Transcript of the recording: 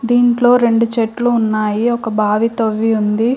దీంట్లో రెండు చెట్లు ఉన్నాయి ఒక బావి తవ్వి ఉంది.